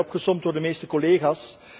Ze zijn opgesomd door de meeste collega's.